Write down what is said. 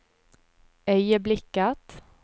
øyeblikket